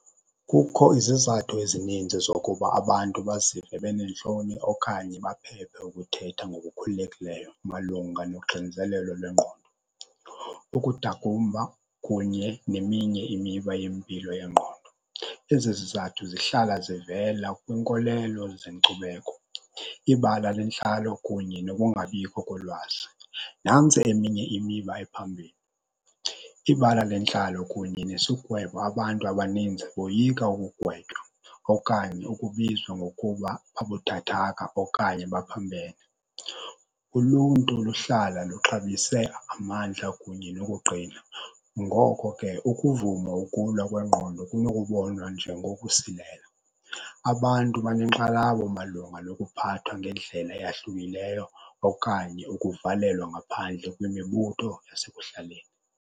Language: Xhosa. Kukho izizathu ezininzi zokuba abantu bazive beneentloni okanye baphephe ukuthetha ngokukhululekileyo malunga noxinzelelo lwengqondo, ukudakumba kunye neminye imiba yempilo yengqondo. Ezi zizathu zihlala zivela kwinkolelo zenkcubeko, ibala lentlalo kunye nokungabikho kolwazi. Nantsi eminye imiba ephambilli, ibala lentlalo kunye nesigwebo. Abantu abaninzi boyika ukugwetywa okanye ukubizwa ngokuba babuthathaka okanye baphambene. Uluntu luhlala luxabise amandla kunye nokuqina, ngoko ke ukuvuma ukulwa kwengqondo kunokubonwa njengokusilela. Abantu banenkxalabo malunga nokuphathwa ngendlela eyahlukileyo okanye ukuvalelwa ngaphandle kwimibutho yasekuhlaleni.